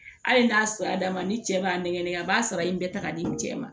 Hali n'a sera d'a ma ni cɛ b'a nɛgɛnɛgɛ a b'a sara in bɛɛ ta k'a di cɛ ma